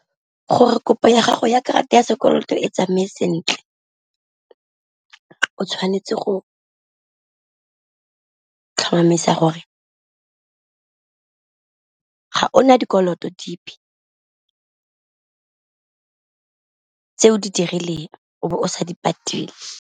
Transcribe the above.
Gore kopo ya gago ya karata ya sekoloto e tsamaye sentle o tshwanetse go tlhomamisa gore ga o na dikoloto dipe, tse o di dirileng o be o sa di patele.